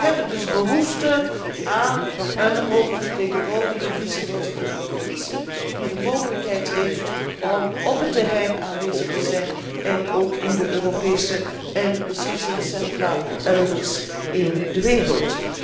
Wij hebben dus behoefte aan een hoge vertegenwoordiger vice voorzitter van de Commissie, die de mogelijkheid heeft om op het terrein aanwezig te zijn en ook in de Europese en beslissingscentra elders in de wereld.